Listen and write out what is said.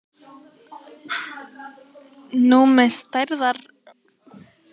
Númi stærðfræðikennari sker fyrstu sneið fyrir afmælisbarnið samkvæmt lögmálum hornafræðinnar.